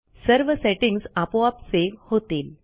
सर्व सेटिंग्ज आपोआप सेव्ह होतील